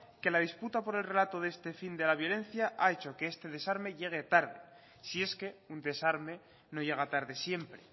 que la disputa por el relato de este fin de la violencia ha hecho que este desarme llegue tarde si es que un desarme no llega tarde siempre